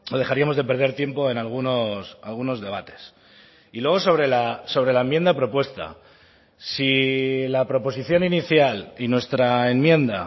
dejaríamos de perder tiempo en algunos debates y luego sobre la enmienda propuesta si la proposición inicial y nuestra enmienda